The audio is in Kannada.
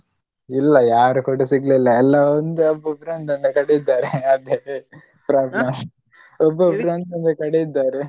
ಇಲ್ಲ ಯಾರು ಕೂಡ ಸಿಗ್ಲಿಲ್ಲಾ ಎಲ್ಲ ಒಂದು ಒಬ್ಬೊಬ್ರು ಒಂದೊಂದು ಕಡೆ ಇದ್ದಾರೆ ಅದೆ problem ಒಬ್ಬೊಬ್ರು ಒಂದೊಂದು ಕಡೆ ಇದ್ದಾರೆ.